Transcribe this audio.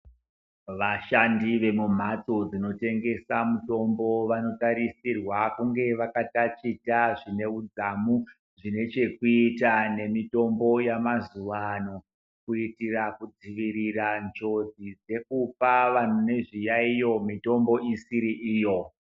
Vashandi vemumhatso dzinotengesa mutombo , vanotarisirwa kunge vakataticha zvineudzamu zvine chekuita nemitombo yemazuva ano, kuitira kudzivirira njodzi dzekupa vanhu vane zviyayiyo mitombo isiri iyo .